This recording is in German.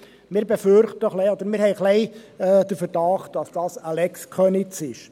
Wir befürchten ein bisschen oder haben den Verdacht, dass dies eine «Lex Köniz» ist.